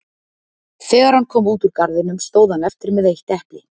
þegar hann kom út úr garðinum stóð hann eftir með eitt epli